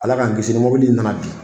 Ala k'an kisi ni mɔbili nana bin.